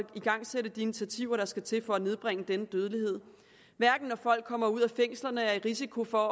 igangsætte de initiativer der skal til for at nedbringe denne dødelighed hverken når folk kommer ud af fængslerne og er i risiko for